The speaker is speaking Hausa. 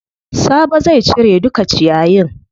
Sabo zai cire duka ciyayin.